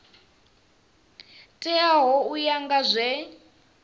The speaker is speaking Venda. teaho u ya nga zwe